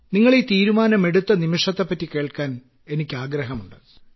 നിങ്ങൾ ഈ തീരുമാനമെടുത്ത നിമിഷത്തെപ്പറ്റി കേൾക്കാൻ എനിക്കാഗ്രഹമുണ്ട്